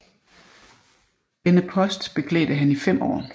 Denne post beklædte han i fem år